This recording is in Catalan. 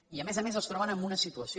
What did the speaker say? i a més a més es troben en una situació